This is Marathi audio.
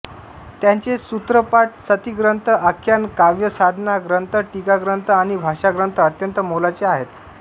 त्यांचे सूत्रपाठ सतिग्रंथ आख्यान काव्य साधना ग्रंथ टीकाग्रंथ आणि भाष्यग्रंथ अत्यंत मोलाचे आहेत